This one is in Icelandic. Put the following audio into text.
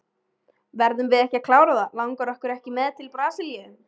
Verðum við ekki að klára það, langar ykkur ekki með okkur til Brasilíu.